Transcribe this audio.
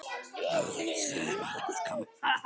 Allt sumar